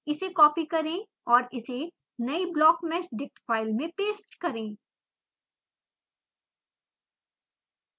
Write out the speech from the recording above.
इसे कॉपी करें और इसे नयी blockmeshdict फाइल में पेस्ट करें